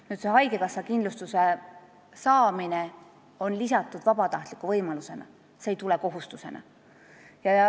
See võimalus haigekassa kindlustust saada on vabatahtlik, see ei tule kohustusena.